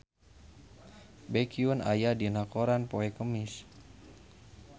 Baekhyun aya dina koran poe Kemis